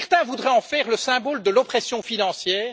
Certains voudraient en faire le symbole de l'oppression financière.